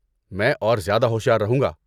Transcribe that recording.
میں اور زیادہ ہوشیار رہوں گا۔